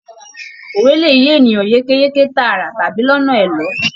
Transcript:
Òwe lè yé ènìyàn yékéyéké tààrà tàbí lọnà ẹ̀lọ́.